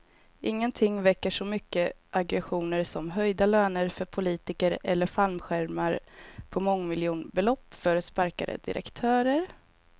Ingenting väcker så mycket aggressioner som höjda löner för politiker eller fallskärmar på mångmiljonbelopp för sparkade direktörer.